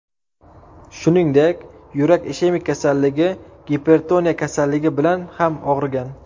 Shuningdek, yurak ishemik kasalligi, gipertoniya kasalligi bilan ham og‘rigan.